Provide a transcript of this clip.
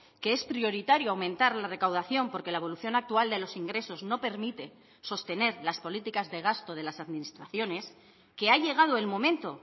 que es prioritario aumentar la recaudación porque la evolución actual de los ingresos no permite sostener las políticas de gasto de las administraciones que ha llegado el momento